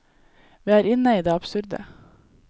Vi er inne i det absurde.